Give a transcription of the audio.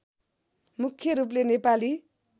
मुख्य रूपले नेपाली